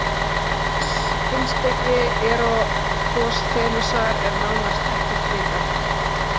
Um heimspeki Eratosþenesar er nánast ekkert vitað.